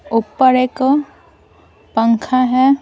ऊपर एक पंखा है।